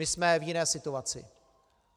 My jsme v jiné situaci.